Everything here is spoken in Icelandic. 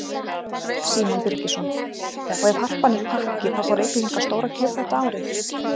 Símon Birgisson: Og ef Harpan er pakki þá fá Reykvíkingar stóra gjöf þetta árið?